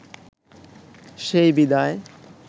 সেই বিদায়